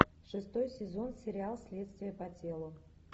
шестой сезон сериал следствие по телу